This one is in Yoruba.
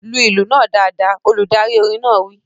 Lu ìlù náà dáadáa! Olùdarí orin náà wí